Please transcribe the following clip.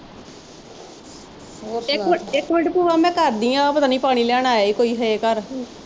ਹੋਰ ਸੁਣਾ, ਇੱਕ minute ਇੱਕ minute ਭੂਆ ਮੈਂ ਕਰਦੀ ਆ ਪਤਾ ਨੀ ਪਾਣੀ ਲੈਣ ਆਇਆ ਈ ਕੋਈ ਘਰ।